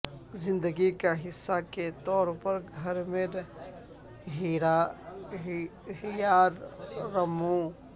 زندگی کا حصہ کے طور پر گھر میں ہیار رموو